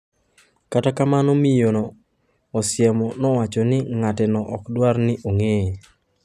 Kata kamano miyo Osiemo nowacho ni ng'ateno ok dwar ni ong'eye.